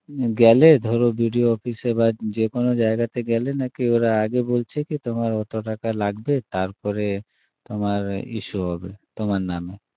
গেলে ধরো BDO office এ বা যে কোনো জায়গাতে গেলে নাকি ওরা আগে বলছে তোমার অত টাকা লাগবে তারপরে তোমার issue হবে তোমার নামে